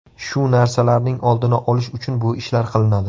Shu narsalarning oldini olish uchun bu ishlar qilinadi.